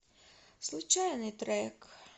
случайный трек